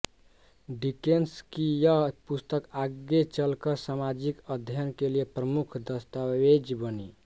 Dickens की यह पुस्तक आगे चलकर सामाजिक अध्ययन के लिए प्रमुख दस्तावेज बनी